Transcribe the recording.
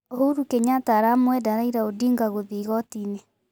Uhuru Kenyatta aramwenda Raila Odinga gũthie igotini.